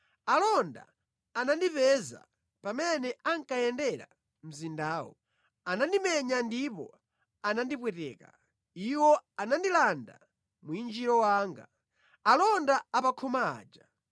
Alonda anandipeza pamene ankayendera mzindawo. Anandimenya ndipo anandipweteka; iwo anandilanda mwinjiro wanga, alonda a pa khoma aja!